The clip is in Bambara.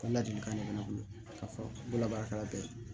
Ka ladilikan de bɛ ne bolo ka fɔ n bolo labaarakɛla bɛɛ